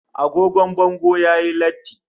Agogo bango yayi latti